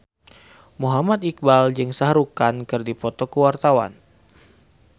Muhammad Iqbal jeung Shah Rukh Khan keur dipoto ku wartawan